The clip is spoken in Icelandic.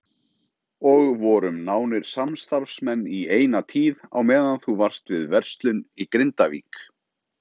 Og vorum nánir samstarfsmenn í eina tíð á meðan þú varst við verslun í Grindavík.